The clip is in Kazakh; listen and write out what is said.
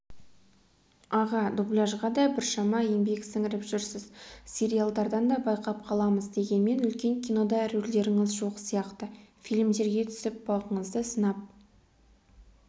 аға дубляжға да біршама еңбек сіңіріп жүрсіз сериалдардан да байқап қаламыз дегенмен үлкен кинода рөлдеріңіз жоқ сияқты фильмдерге түсіп бағыңызды сынап